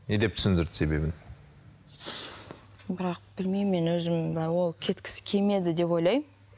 не деп түсіндірді себебін бірақ білмеймін мен өзім ол кеткісі келмеді деп ойлаймын